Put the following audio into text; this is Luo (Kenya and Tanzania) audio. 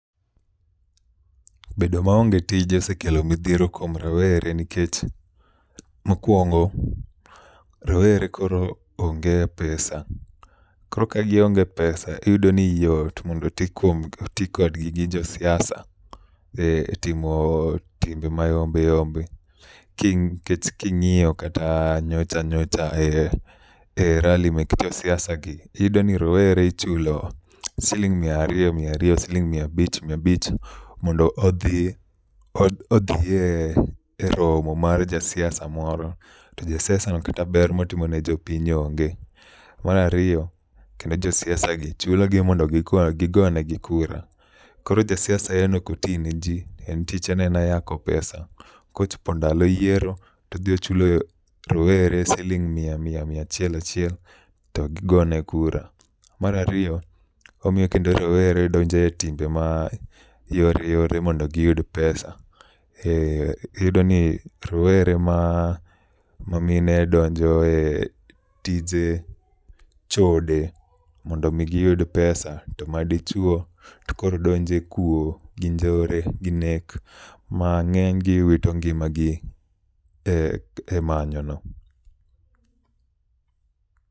Bedo maonge tije osekelo midhiero kuom rawere nikech mokuongo rowere koro onge pesa. Koro ka gionge pesa iyudo ni yot mondo oti kodgi gi jo siasa etimo timbe ma yombe yombe. Nikech king'iyo kata nyocha nyocha e rali mek jo siasa gi iyudo ni rowere ichulo siling' miya ariyo miya ariyo, siling' miya abich miya abich mondo mi odhi eromo mar ja siasa moro, to ja siasano to kata ber ma otimo ne jopiny to onge. To mar ariyo, kendo jo siasagi chulogi mondo gigo gigo negi kura. Koro jo siasa en ok oti ne ji en tije en yako pesa, kochopo ndalo yiero to odhi ochulo rowere siling' miya miya miya achiel achiel to gigone kura. Mar ariy omiyo kendoo rowere donjo e timbe ma yore yore mondo giyud pesa. Iyudo ni rowere ma mamine do jo e tije chode mondo mi giyud pesa to madichuo to koro donjo e kuo gi njore gi nek mang'eny gi wito ngimagi e manyono.